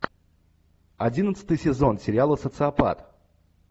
одиннадцатый сезон сериала социопат